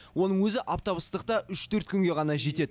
оның өзі аптап ыстықта үш төрт күнге ғана жетеді